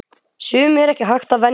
Sumu er ekki hægt að venjast.